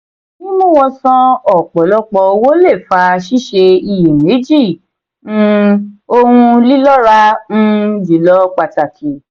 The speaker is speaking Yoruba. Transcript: mímú wọn san ọpọlọpọ owó lè fa siṣe iye meji um òhun lilọra um jùlọ pàtàkì.